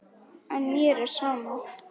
En mér er sama.